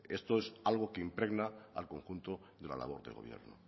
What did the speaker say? esto es algo que impregna al conjunto de la labor del gobierno